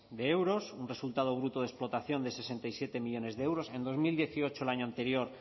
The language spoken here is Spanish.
de euros un resultado fruto de explotación de sesenta y siete millónes de euros en dos mil dieciocho el año anterior